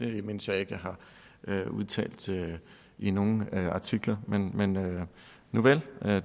det mindes jeg ikke jeg har udtalt i nogen artikler men nuvel